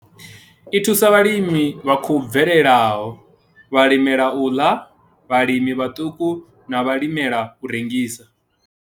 I thusa vhalimi vha khou bvelelaho, vhalimela u ḽa, vhalimi vhaṱuku na vhalimela u rengisa.